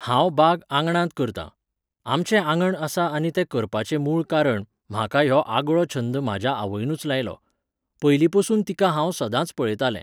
हांव बाग आंगणांत करतां. आमचें आंगण आसा आनी तें करपाचें मूळ कारण, म्हाका ह्यो आगळो छंद म्हाज्या आवयनुच लायलो. पयलीं पसून तिका हांव सदांच पळयतालें